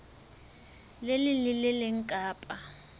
leng le le leng kapa